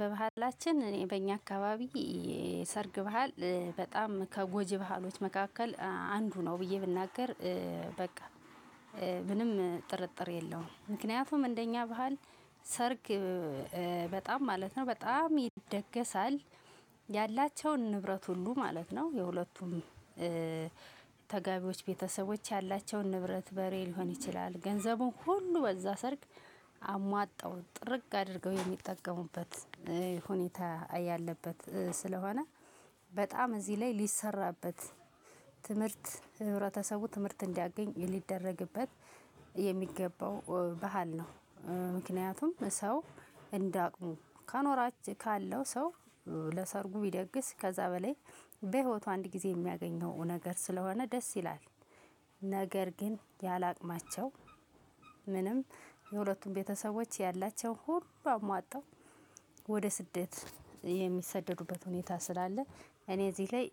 በባህላችን እኔ በእኛ አካባቢ የሰርግ ባህል በጣም ከጎጅ ባህሎች መካከል አንዱ ነው ብዬ ብናገር። በቃ ምንም ጥርጥር የለውም። ምክንያቱም እንደኛ ባህል ሰርግ በጣም ማለት ነው በጣም ይደገሳል። ያላቸውን ንብረት ሁሉ ማለት ነው። የሁለቱም ተጋቢዎች ቤተሰቦች ያላቸውን ንብረት በሬ ሊሆን ይችላል ገንዘቡን ሁሉ በዛ ሰርግ አሟጣው ጥርግ አድርገው የሚጠቀሙበት ሁኔታ ያለበት ስለሆነ። በጣም እዚህ ላይ ሊሰራበት ትምህርት ህብረተሰቡ ትምህርት እንዲያገኝ ሊደረግበት የሚገባው ባህል ነው። ምክንያቱም ሰው እንዳቅሙ ካኖራች ካለው ሰው ለሰርጉ ቢደግስ ከዛ በላይ በህይወቱ አንድ ጊዜ የሚያገኘው ነገር ስለሆነ ደስ ይላል። ነገር ግን ያላቅማቸው ምንም የሁለቱን ቤተሰቦች ያላቸው ሁሉ አሟጣው ወደ ስደት የሚሰደዱበት ሁኔታ ስላለ። እኔ እዚህ ላይ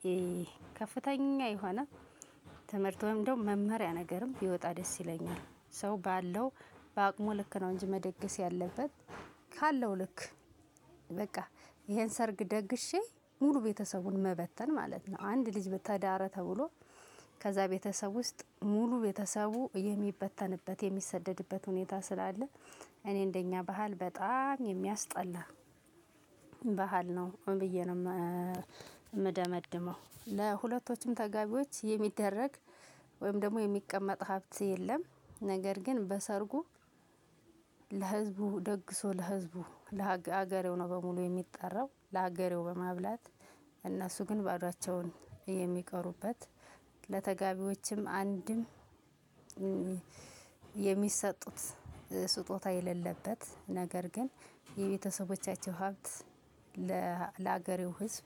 ከፍተኛ የሆነ ትምህርት ወይም ደሞ መመሪያ ነገርም ቢወጣ ደስ ይለኛል። ሰው ባለው ባአቅሙ ልክ ነው እንጂ መደገስ ያለበት ካለው ልክ። በቃ ይሄን ሰርግ ደግሼ ሙሉ ቤተሰቡን መበተን ማለት ነው። አንድ ልጅ በተዳረ ተብሎ ከዛ ቤተሰብ ውስጥ ሙሉ ቤተሰቡ የሚበተንበት የሚሰደድበት ሁኔታ ስላለ። እኔ እንደኛ ባህል በጣም የሚያስጠላ ባህል ነው ብዬ ነው። የምደመድመው ለሁለቶችም ተጋቢዎች የሚደረግ ወይም ደሞ የሚቀመጥ ሀብት የለም። ነገር ግን በሰርጉ ለህዝቡ ደግሶ ለህዝቡ ለሀገሬው ነው በሙሉ የሚጠራው ለሀገሬው በማብላት እነሱ ግን ባዶአቸውን የሚቀሩበት። ለተጋቢዎቸም አንድም የሚሰጡት ስጦታ የሌለበት ነገር ግር የቤተሰቦቻቸው ሀብት ለ ለሀገሬው ህዝብ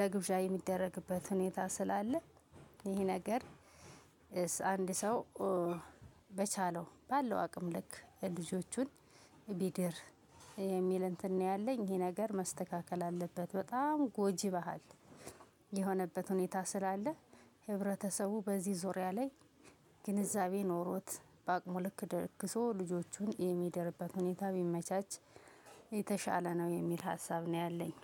ለግብዣ የሚደረግበት ሁኔታ ስላለ። ይህ ነገር አንድ ሰው በቻለው ባለው አቅም ልክ የልጆቹን ቢድር የሚል እንትን ነው ያለኝ ይሄ ነገር መስተካከል አለበት። በጣም ጎጂ ባህል የሆነበት ሁኔታ ስላለ። ህብረተሰቡ በዚህ ዙሪያ ላይ ግንዛቤ ኖሮት በአቅሙ ልክ ደግሶ ልጆቹን የሚደርበት ሁኔታ ቢመቻች። የተሻለ ነው የሚል ሀሳብ ነው ያለኝ